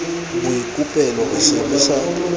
boikopelo re se re sa